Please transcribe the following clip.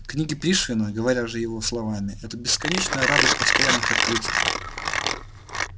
книги пришвина говоря же его словами это бесконечная радость постоянных открытий